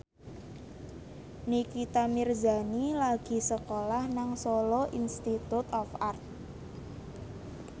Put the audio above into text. Nikita Mirzani lagi sekolah nang Solo Institute of Art